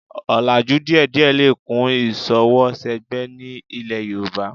Ọlàjú díẹ̀díẹ̀ lè kún ìṣọwọ́ṣẹgbẹ́ ní ilẹ̀ Yorùbá